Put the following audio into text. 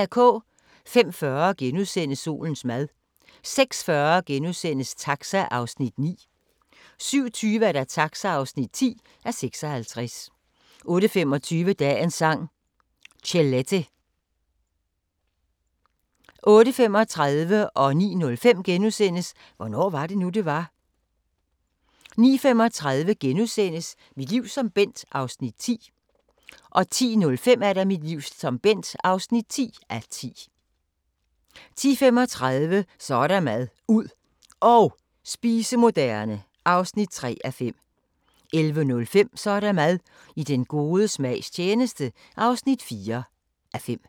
05:40: Solens mad * 06:40: Taxa (9:56)* 07:20: Taxa (10:56) 08:25: Dagens Sang: Chelete 08:35: Hvornår var det nu, det var? * 09:05: Hvornår var det nu, det var? * 09:35: Mit liv som Bent (9:10)* 10:05: Mit liv som Bent (10:10) 10:35: Så er der mad – ud og spise moderne (3:5) 11:05: Så er der mad – I den gode smags tjeneste (4:5)